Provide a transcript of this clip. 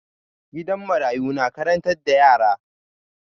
Gidan marayu na karantar da yara.